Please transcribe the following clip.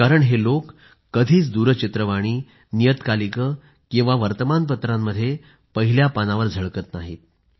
कारण हे लोक कधीच दूरचित्रवाणी नियतकालिकं किंवा वर्तमानपत्रांमध्ये पहिल्या पानावर झळकत नाहीत